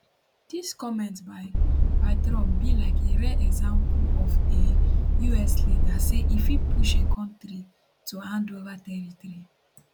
dis comment by by trump be like a rare example of a us leader say e fit push a country to hand ova territory